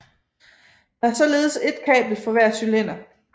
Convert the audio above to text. Der er således ét kabel for hver cylinder